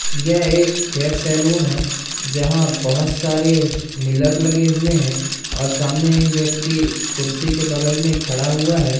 यह एक hair salon है जहां बहोत सारे मिलर लगे हुए है और सामने एक व्यक्ति कुर्सी के बगल में खड़ा हुआ है।